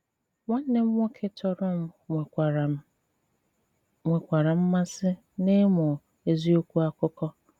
Nwànnè m nwòkè tọrọ m nwèkwàrà m nwèkwàrà mmàsị n'ịmụ èzìòkwù àkụkọ.